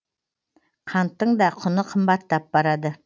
қанттың да құны қымбаттап барады